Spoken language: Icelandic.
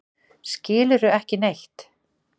Skilurðu ekki neitt?